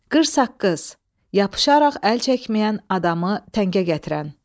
Qırsaqqız, yapışaraq əl çəkməyən adamı təngə gətirən.